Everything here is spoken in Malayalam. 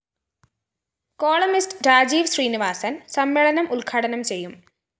കോളംനിസ്റ്റ്‌ രാജീവ് ശ്രീനിവാസന്‍ സമ്മേളനം ഉദ്ഘാടനം ചെയ്യും